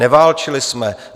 Neválčili jsme.